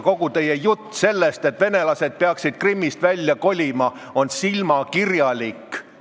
Kogu teie jutt sellest, et venelased peaksid Krimmist välja kolima, on silmakirjalik.